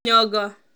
Nyong'o